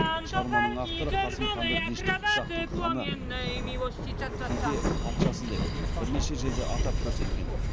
шығарманың авторы қасым ханды дешті қыпшақтың ханы кейде патшасы деп бірнеше жерде атап көрсеткен